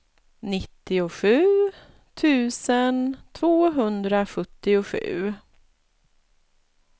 nittiosju tusen tvåhundrasjuttiosju